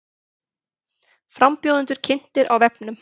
Frambjóðendur kynntir á vefnum